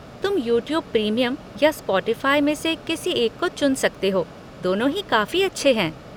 तुम YouTube premium या Spotify में से किसी एक को चुन सकते हो, दोनों ही काफी अच्छे हैं।